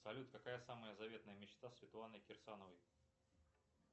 салют какая самая заветная мечта светланы кирсановой